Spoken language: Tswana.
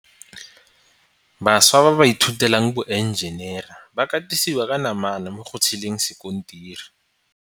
Bašwa ba ba ithutelang boenjenere ba katisiwa ka namana mo go tsheleng sekontiri.